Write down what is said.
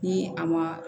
Ni a ma